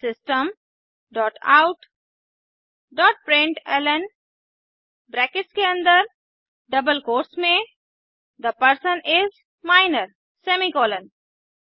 system dot out dot println brackets के अन्दर double quotes में the person is minor semicolon